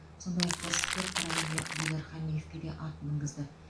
сондай ақ кәсіпкер қарағандылық дидар қамиевке ат мінгізді